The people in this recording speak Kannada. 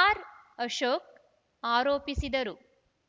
ಆರ್‌ಅಶೋಕ್‌ ಆರೋಪಿಸಿದರು